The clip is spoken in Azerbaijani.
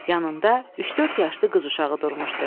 Yanında üç-dörd yaşlı qız uşağı durmuşdu.